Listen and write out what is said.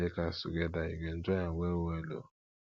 make we play cards togeda you go enjoy am wellwell o